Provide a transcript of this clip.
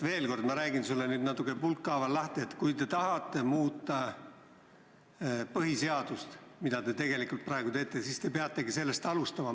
Veel kord ma räägin sulle nüüd pulkhaaval lahti, et kui te tahate muuta põhiseadust, mida te tegelikult praegu teete, siis te peategi sellest alustama.